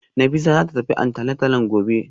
Hafisa zata tafi antenatalin gobe